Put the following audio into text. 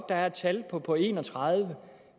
der er et tal på på en og tredive